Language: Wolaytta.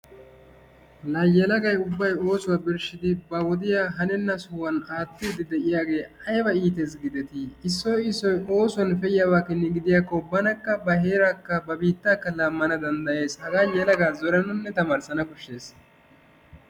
Laa yelagay ubbay oosuwa birshshidi ba wodiya hanenna sohuwan aattiiddi diyage ayiba iites giideti! Issoy issoy oosuwan pe'iyaba keni gidiyakko banakka ba heeraakka ba biittaakka laammana danddayees. hagaa yalagaa zorananne tamaarissana koshshees.